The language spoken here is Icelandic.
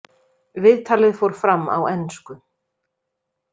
Viðtalið fór fram á ensku.